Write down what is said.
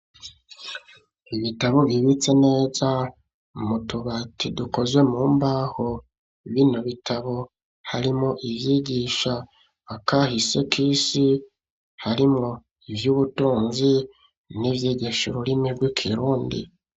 Ibitabo bibitse neza mu tubati dukoze mu mbaho. Bino bitabo harimwo ivyigisha akahise k'isi, harimwo ivy'ubutunzi, n'ivyigisha ururimi rw'ikirundi.